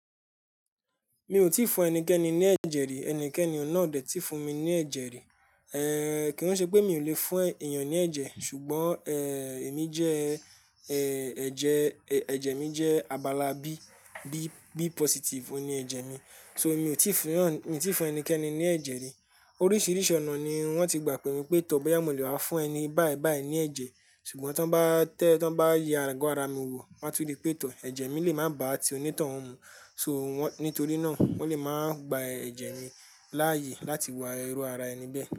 Mi ò tí fún ẹnikẹ́ni ní ẹ̀jẹ̀ rí, ẹnikẹ́ni náà ò dè tí fún mi ní ẹ̀jẹ̀ rí. Ehn, kí n ṣe pé mi ò lè fún èèyàn ní ẹ̀jẹ̀, ṣùgbọ́n eh, èmi jẹ eh, ẹ̀jẹ, ẹ̀jẹ̀ mi jẹ abala bí, bí, bí positive, òní ẹ̀jẹ̀ mi. So mi ò tíì fún ènìyàn, mi ò tíì fún ẹnikẹ́ni ní ẹ̀jẹ̀ rí. Oríṣiríṣi ọ̀nà ni wọ́n ti gbà pé mi pé tọ́, bóyá mo lè wá fún ẹni báà báa yi ní ẹ̀jẹ̀, ṣùgbọ́n tí wọ́n bá tẹ́, tí wọ́n bá yẹ agọ ara mi wò, won tún ri pé tọ́ ẹ̀jẹ̀ mi lè má bá à ti onítàn oun mu. So wọ́n, nítorí náà wọ́n lè máa gba ẹ̀jẹ̀ mi láàyè láti wo iru ara ẹni bẹ́ẹ̀